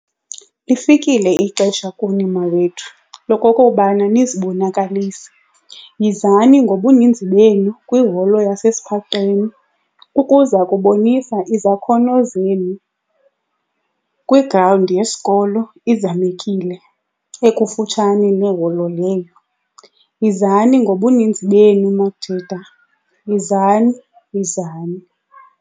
Lifikile ixesha kuni mawethu lokokubana nizibonakalise. Yizani ngobuninzi benu kwiholo ukuza kubonisa izakhono zenu kwigrawundi yesikolo, iZamekile, ekufutshane neholo leyo. Yizani ngobuninzi benu majita, yizani yizani.